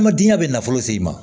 An ma dingɛ bɛ nafolo se i ma